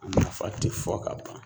O nafa te fɔ ka ban.